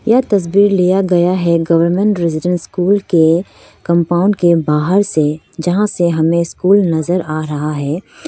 यह तस्वीर लिया गया है गवर्नमेंट रेजिडेंस स्कूल के कंपाउंड के बाहर से जहां से हमें स्कूल नजर आ रहा है।